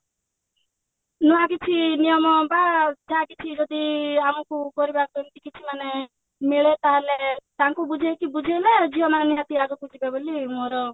ନୂଆ କିଛି ନିୟମ ବା ଯାହାକିଛି ଯଦି ଆମକୁ କରିବାକୁ ଏମତି କିଛି ମାନେ ମିଳେ ତାହେଲେ ତାଙ୍କୁ ବୁଝେଇକି ବୁଝେଇବା ଝିଅମାନେ ନିହାତି ଆଗକୁ ଯିବେ ବୋଲି ମୋର